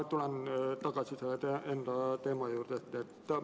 Ma tulen tagasi enda eelmise teema juurde.